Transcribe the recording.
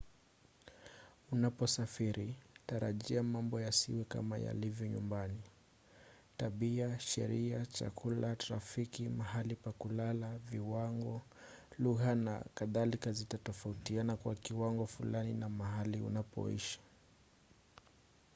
unaposafiri tarajia mambo yasiwe kama yalivyo nyumbani”. tabia sheria chakula trafiki mahali pa kulala viwango lugha na kadhalika zitatofautiana kwa kiwango fulani na mahali unapoishi